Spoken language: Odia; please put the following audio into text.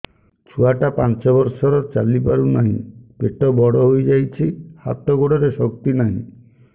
ଛୁଆଟା ପାଞ୍ଚ ବର୍ଷର ଚାଲି ପାରୁ ନାହି ପେଟ ବଡ଼ ହୋଇ ଯାଇଛି ହାତ ଗୋଡ଼ରେ ଶକ୍ତି ନାହିଁ